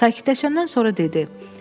Sakitləşəndən sonra dedi: